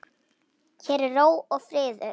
Hér er ró og friður.